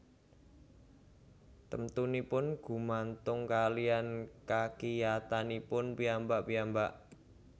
Temtunipun gumantung kaliyan kakiyatanipun piyambak piyambak